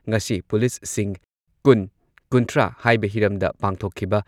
ꯉꯁꯤ ꯄꯨꯂꯤꯁꯁꯤꯡ ꯀꯨꯟ ꯀꯨꯟꯊ꯭ꯔꯥ ꯍꯥꯏꯕ ꯍꯤꯔꯝꯗ ꯄꯥꯡꯊꯣꯛꯈꯤꯕ